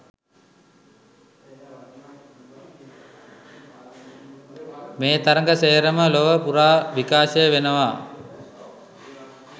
මේ තරග සේරම ලොව පුරා විකාශය වෙනවා.